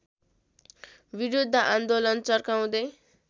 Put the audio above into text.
विरुद्ध आन्दोलन चर्काउँदै